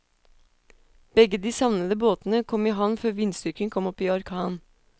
Begge de savnede båtene kom i havn før vindstyrken kom opp i orkan.